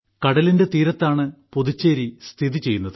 കടലിന്റെ തീരത്താണ് പുതുച്ചേരി സ്ഥിതിചെയ്യുന്നത്